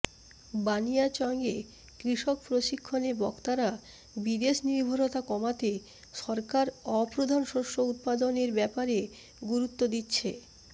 বানিয়াচংয়ে কৃষক প্রশিক্ষণে বক্তারা বিদেশ নির্ভরতা কমাতে সরকার অপ্রধান শস্য উৎপাদনের ব্যাপারে গুরুত্ব দিচ্ছে